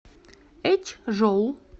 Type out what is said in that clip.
эчжоу